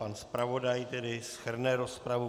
Pan zpravodaj tedy shrne rozpravu.